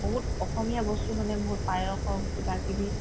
বহুত অসমীয়া বস্তু মানে বহুত পায়স হওক কিবাকিবি